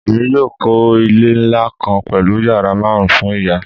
Emi yoo kọ ile nla kan pẹlu yara marun fun iya